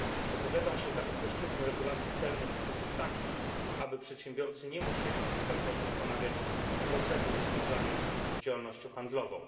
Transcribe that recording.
Opowiadam się za uproszczeniem regulacji celnych w taki sposób, aby przedsiębiorcy nie musieli kilkakrotnie ponawiać procedur związanych z działalnością handlową.